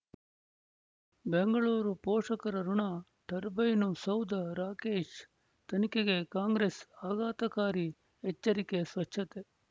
ಬೆಂಗಳೂರು ಪೋಷಕರಋಣ ಟರ್ಬೈನು ಸೌಧ ರಾಕೇಶ್ ತನಿಖೆಗೆ ಕಾಂಗ್ರೆಸ್ ಆಘಾತಕಾರಿ ಎಚ್ಚರಿಕೆ ಸ್ವಚ್ಛತೆ